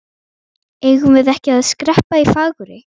Eigum við ekki að skreppa í Fagurey?